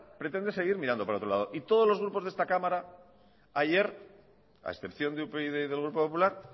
pretende seguir mirando al otro lado y todos los grupos de esta cámara ayer a excepción de upyd y del grupo popular